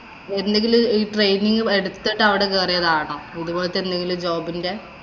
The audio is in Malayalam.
എന്തെങ്കിലും training എടുത്തിട്ടു അവിടെ കയറിയതാണോ? ഇതുപോലത്തെ എന്തെങ്കിലും job ഇന്‍റെ?